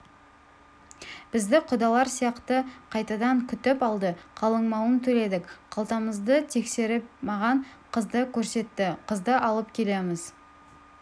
бізді құдалар сияқты қайтадан күтіп алды қалыңмалын төледік қалтамызды тексеріп маған қызды көрсетті қызды алып келеміз